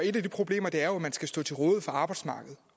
et af de problemer er jo at man skal stå til rådighed for arbejdsmarkedet